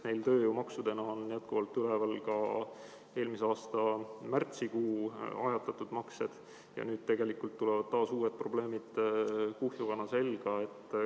Tööjõumaksudena on jätkuvalt üleval ka eelmise aasta märtsikuu ajatatud maksed ja nüüd tulevad uued, nii et tegelikult probleemid kuhjuvad selga.